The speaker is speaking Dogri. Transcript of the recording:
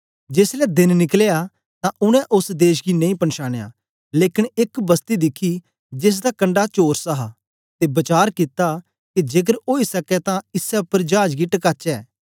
जेसलै देन निकलया तां उनै ओस देश गी नेई पनछानया लेकन एक बसती दिखी जेसदा कंडा चौरस हा ते वचार कित्ता के जेकर ओई सकै तां इसै उपर चाज गी टकाचे